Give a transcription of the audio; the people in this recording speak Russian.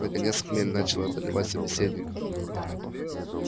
наконец хмель начал одолевать собеседников